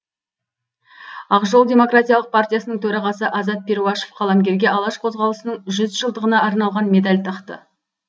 ақжол демократиялық партиясының төрағасы азат перуашев қаламгерге алаш қозғалысының жүз жылдығына арналған медаль тақты